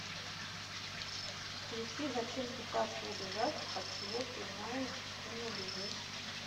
включи зачем пытаться убежать от чего ты знаешь что не убежишь